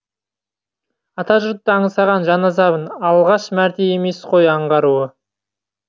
ата жұртты аңсаған жан азабын алғаш мәрте емес қой аңғаруы